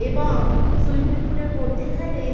এবং swimming pool এর মধ্যে খানে।